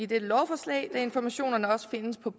dette lovforslag idet informationerne også findes på